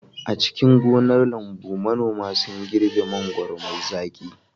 A cikin gonar lambu, manoma sun girbe mangwaro mai zaƙi.